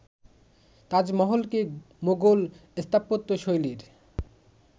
তাজমহলকে Mughal স্থাপত্যশৈলীর